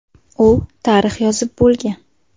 U tarix yozib bo‘lgan.